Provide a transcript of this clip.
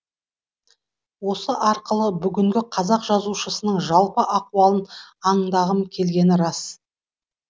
осы арқылы бүгінгі қазақ жазушысының жалпы ахуалын аңдағым келгені рас